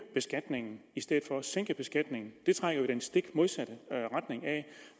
beskatningen i stedet for at sænke beskatningen det trækker jo i den stik modsatte retning af